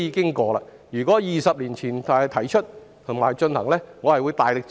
如果這項建議在20年前提出，我會大力支持。